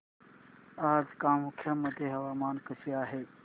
आज कामाख्या मध्ये हवामान कसे आहे